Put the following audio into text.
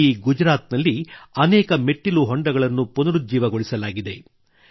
ಇಡೀ ಗುಜರಾತಿನಲ್ಲಿ ಅನೇಕ ಮೆಟ್ಟಿಲು ಕೊಳಗಳನ್ನು ಪುನರುಜ್ಜೀವಗೊಳಿಸಲಾಗಿದೆ